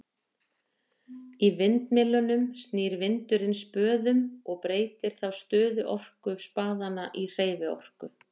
í vindmyllum snýr vindurinn spöðum og breytir þá stöðuorku spaðanna í hreyfiorku